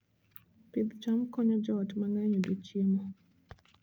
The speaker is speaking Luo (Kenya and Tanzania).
Pidh cham konyo joot mang'eny yudo chiemo.